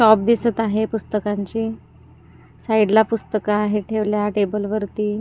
top दिसत आहे पुस्तकांची साईडला पुस्तकं आहे ठेवल्या टेबल वरती--